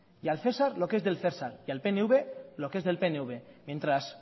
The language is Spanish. y al cesar lo que es del cesar y al pnv lo que es del pnv mientras